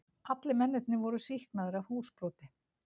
Allir mennirnir voru sýknaðir af húsbroti